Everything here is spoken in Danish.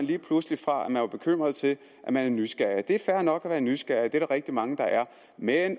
lige pludselig fra at man var bekymret til at man er nysgerrig det er fair nok at være nysgerrig det er der rigtig mange der er men